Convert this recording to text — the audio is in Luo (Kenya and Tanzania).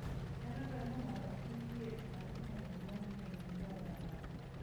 Nyalo dwarore ni opidhgi e pi matut mondo gimodhi kendo gigoe abal.